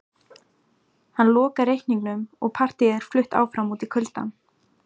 Hann lokar reikningnum og partíið er flutt áfram út í kuldann